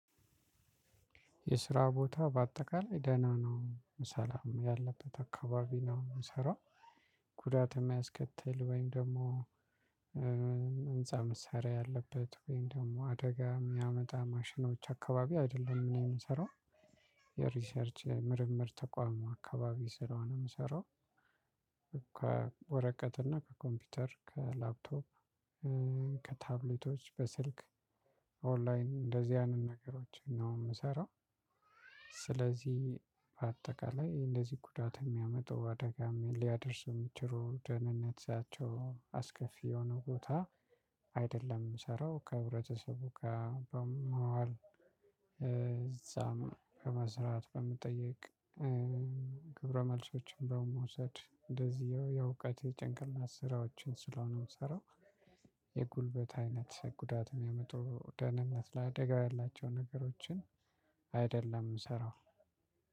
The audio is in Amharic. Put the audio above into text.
የስራ ቦታ በአጠቃላይ ደህና ነው ሰላም ያለበት አካባቢ ነው የምሰራው። ጉዳት የማያስከትል ወይም ደግሞ ህንፃ መሳሪያ ያለበት ወይም ደግሞ አደጋ የሚያመጣ ማሽኖች አካባቢ አይደለም እኔ የምሰራው። የሪሰርች ምርምር ተቋም አካባቢ ስለሆነ የምሰራው ከወረቀትና ከኮምፒዩተር ከላፕቶፕ ከታብሌቶች በስልክ ኦንላይን እንደዚህ አይነት ነገሮችን ነው የምሰራው። ስለዚህ በአጠቃላይ እንደዚህ ጉዳት የሚያመጡ አደጋም ሊያደርስ የሚችሉ ደህንነት ሲያቸው አስከፊ የሆነ ቦታ አይደለም የምሰራው። ከህብረተሰቡ ጋር በመዋል እዛም ከመስራት በመጠየቅ ክብረ መልሶችን በመውሰድ እንደዚሁ የእውቀት የጭንቅላት ስራዎችን ስለሆነ የምሰራው። የጉልበት አይነት ጉዳት የሚያመጡ ደህንነት ለአደጋ ያላቸው ነገሮችን እሰራዋለሁ።